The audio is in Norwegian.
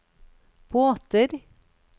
båter